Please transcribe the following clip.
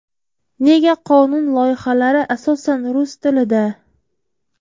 Nega qonun loyihalari asosan rus tilida?